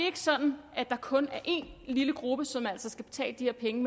ikke sådan at det kun er én lille gruppe som skal betale de her penge